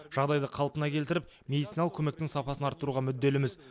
жағдайды қалпына келтіріп медициналық көмектің сапасын арттыруға мүдделіміз